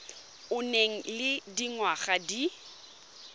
o nang le dingwaga di